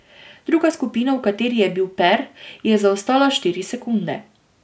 Druga skupina, v kateri je bil Per, je zaostala štiri sekunde.